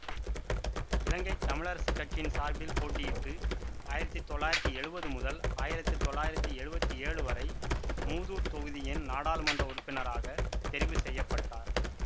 இலங்கை தமிழரசுக் கட்சியின் சார்பில் போட்டியிட்டு ஆயிரத்தி தொள்ளாயிரத்தி எழுவது முதல் ஆயிரத்தி தொள்ளாயிரத்தி எழுவத்தி ஏழு வரை மூதூர் தொகுதியின் நாடாளுமன்ற உறுப்பினராகத் தெரிவு செய்ய பட்டார்